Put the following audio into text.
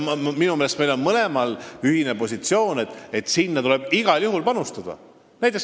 Minu meelest me oleme mõlemad ühesel seisukohal, et sellesse tuleb igal juhul panustada.